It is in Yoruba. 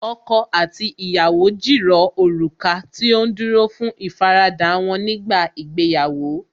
Ọkọ àti ìyàwó jìrọ̀ òrùka tí ó dúró fún ìfaradà wọ́n nígbà ìgbéyàwó